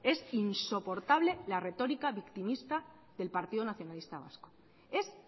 es insoportable la retórica victimista del partido nacionalista vasco es